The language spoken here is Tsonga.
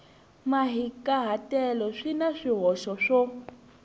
mahikahatelo swi na swihoxo swo